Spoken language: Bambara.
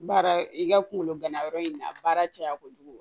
Baara i ka kungolo ganayɔrɔ in na a baara caya kojugu